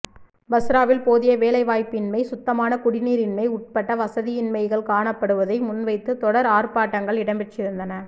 பஸ்ராவில் போதிய வேலைவாய்ப்பின்மை சுத்தமான குடிநீர் இன்மை உட்பட வசதியின்மைகள் காணப்படுவதை முன்வைத்து தொடர் ஆர்ப்பாட்டங்கள் இடம்பெற்றிருந்தன